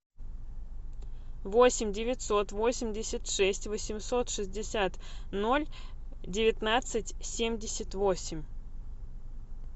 восемь девятьсот восемьдесят шесть восемьсот шестьдесят ноль девятнадцать семьдесят восемь